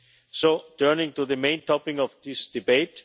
So turning to the main topic of this debate.